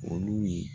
Olu ye